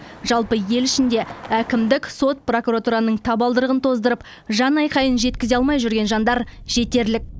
жалпы ел ішінде әкімдік сот прокуратураның табалдырығын тоздырып жанайқайын жеткізе алмай жүрген жандар жетерлік